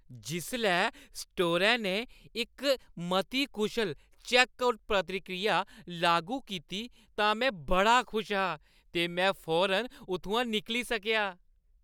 जिसलै स्टोरै ने इक मती कुशल चैक्कआउट प्रक्रिया लागू कीती तां में बड़ा खुश हा ते में फौरन उत्थूं निकली सकेआ।